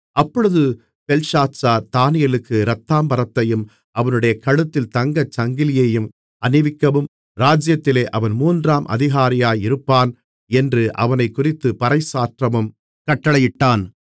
அப்பொழுது பெல்ஷாத்சார் தானியேலுக்கு இரத்தாம்பரத்தையும் அவனுடைய கழுத்தில் தங்கச்சங்கிலியையும் அணிவிக்கவும் ராஜ்ஜியத்திலே அவன் மூன்றாம் அதிகாரியாயிருப்பவன் என்று அவனைக்குறித்துப் பறைசாற்றவும் கட்டளையிட்டான்